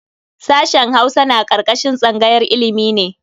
Sashen Hausa na karkashin tsangayar ilimi ne.